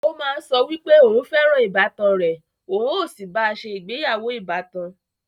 Ó má ń sọ wípé òún fẹ́ràn ìbátan rẹ̀, òun ó sì bá a se ìgbéyàwó ìbátan